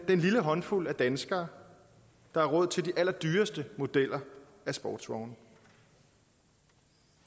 den lille håndfuld af danskere der har råd til de allerdyreste modeller af sportsvogne